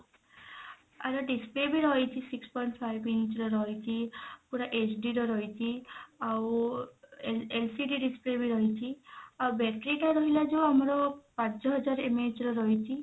ଆର display ବି ରହିଛି six point five inch ର ରହିଛି ପୁରା HD ର ରହିଛି ଆଉ ଏ LCD display ବି ରହିଛି ଆଉ battery ଟା ରହିଲା ଯଉ ଆମର ପାଞ୍ଚ ହଜାର MAH ର ରହିଛି